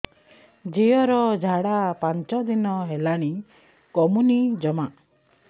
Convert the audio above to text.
ଝିଅର ଝାଡା ପାଞ୍ଚ ଦିନ ହେଲାଣି କମୁନି ଜମା